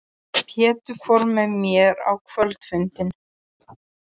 Pétur fór með mér á kvöldfundinn.